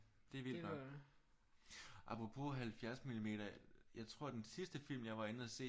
Det er vildt nok apropos 70 millimeter jeg tror den sidste film jeg var inde og se